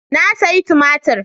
Na sayi tumatir.